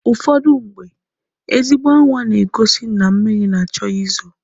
Ụfọdụmgbe, ezigbo anwa na-egosi na mmịrị na-achọ ị zo.